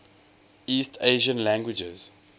east asian languages